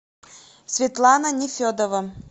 светлана нефедова